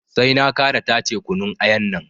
Sai na ƙara tace kunun ayan nan